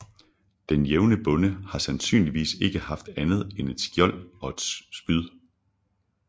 Den jævne bonde har sandsynligvis ikke haft andet end et spyd og et skjold